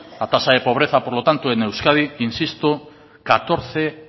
la tasa de pobreza por lo tanto en euskadi insisto catorce